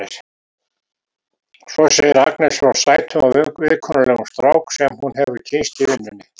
Svo segir Agnes frá sætum og viðkunnanlegum strák sem hún hefur kynnst í vinnunni.